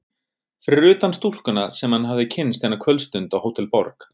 Fyrir utan stúlkuna sem hann hafði kynnst eina kvöldstund á Hótel Borg.